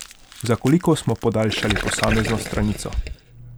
Za koliko smo podaljšali posamezno stranico?